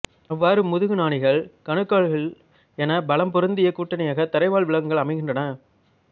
அவ்வாறு முதுகுநாணிகள் கணுக்காலிக்கள் என பல பலம் பொருந்திய கூட்டணியாக தரைவாழ் விலங்குகள் அமைகின்றன